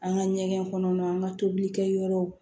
An ka ɲɛgɛn kɔnɔna an ka tobilikɛ yɔrɔw